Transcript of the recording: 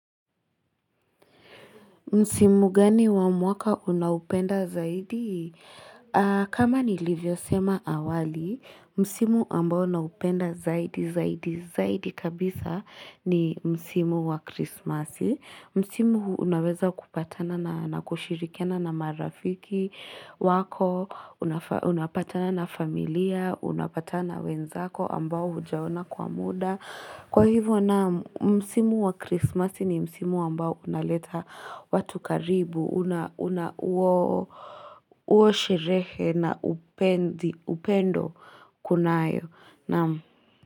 Msimu gani wa mwaka unaupenda zaidi? Kama nilivyo sema awali, Msimu ambao naupenda zaidi, zaidi, zaidi kabisa ni Msimu wa krisimasi. Msimu huu unaweza kupatana na kushirikiana na marafiki wako, unapatana na familia, unapatana wenzako ambao hujaona kwa muda. Kwa hivyo namu, msimu wa Christmas ni msimu ambao unaleta watu karibu, unawo sherehe na upendo kunayo namu.